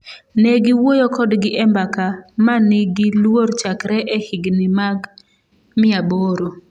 """Ne giwuoyo kodgi e mbaka ma nigi luor chakre e higni mag 800."